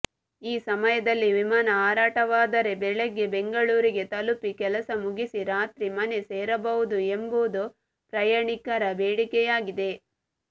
ಈ ಸಮಯದಲ್ಲಿ ವಿಮಾನ ಹಾರಾಟವಾದರೆ ಬೆಳಗ್ಗೆ ಬೆಂಗಳೂರಿಗೆ ತಲುಪಿ ಕೆಲಸ ಮುಗಿಸಿ ರಾತ್ರಿ ಮನೆ ಸೇರಬಹುದು ಎಂಬುದು ಪ್ರಯಾಣಿಕರ ಬೇಡಿಕೆಯಾಗಿದೆ